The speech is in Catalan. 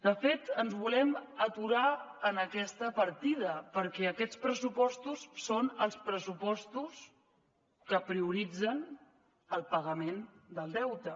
de fet ens volem aturar en aquesta partida perquè aquests pressupostos són els pressupostos que prioritzen el pagament del deute